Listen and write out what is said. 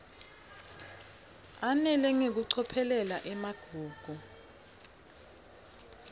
ananele ngekucophelela emagugu